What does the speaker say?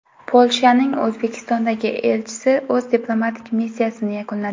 Polshaning O‘zbekistondagi elchisi o‘z diplomatik missiyasini yakunladi.